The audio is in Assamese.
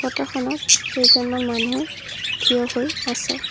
ফটোখনত কেইজনমান মানুহ থিয় হৈ আছে।